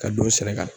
Ka don sɛnɛ la